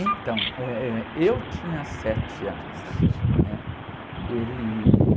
Então, eh, eu tinha sete anos.inha sete?é? Ele...